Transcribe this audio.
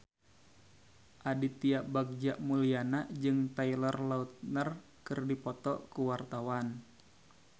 Aditya Bagja Mulyana jeung Taylor Lautner keur dipoto ku wartawan